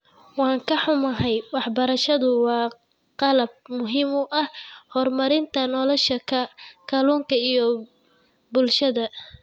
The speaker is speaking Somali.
Waan ka xunnahay, waxbarashadu waa qalab muhiim u ah horumarinta nolosha kalluunka iyo bulshada.